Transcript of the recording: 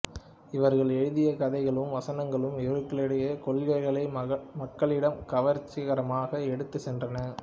இவர்கள் எழுதிய கதைகளும் வசனங்களும் இவர்களுடைய கொள்கைகளை மக்களிடம் கவர்ச்சிகரமாக எடுத்துச் சென்றன